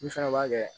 Min fana b'a kɛ